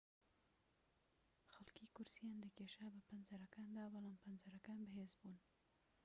خەڵکی کورسییان دەکێشا بە پەنجەرەکاندا بەڵام پەنجەرەکان بەهێز بوون